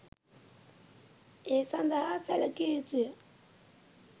ඒ සඳහා සැලකිය යුතු ය.